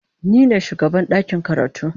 Ni ne shugaban ɗakin karatu.